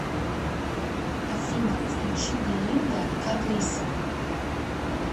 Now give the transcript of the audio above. афина включи белинда карлисл